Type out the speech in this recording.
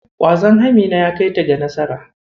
Ƙwazon Amina ya kaita ga nasara.